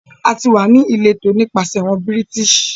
A ti wà ni ìlétọ́ nípasẹ̀ awọn Bírìtísì